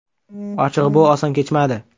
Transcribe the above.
Ochig‘i, bu oson kechmadi.